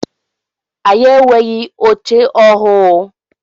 Anyị enweghị oche ọhụụ.